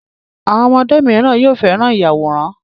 Àwọn ọmọdé míràn yóò féràn Ìyàwòrán.